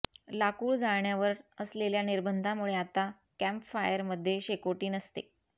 लाकूड जाळण्यावर असलेल्या निर्बंधामुळे आता कँपफायर मध्ये शेकोटी नसते